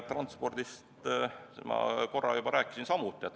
Transpordist ma korra juba rääkisin.